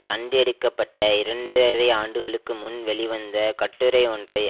கண்டு எடுக்க பட்ட இரண்டரை ஆண்டுகளுக்கு முன் வெளிவந்த கட்டுரை ஒன்றை